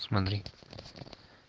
смотри